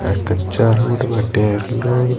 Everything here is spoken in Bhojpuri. आ कच्चा रोड बाटे रोड --